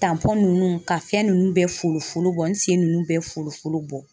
nunnu ka fɛn nunnu bɛɛ folofolo bɔ n sen nunnu bɛɛ fooloforo bɔ